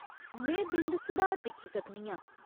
में बिंद सुधार दिक्खी सकनी आं।